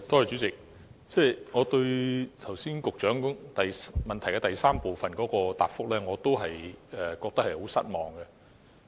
主席，對於局長剛才主體答覆的第三部分，我仍然感到很失望。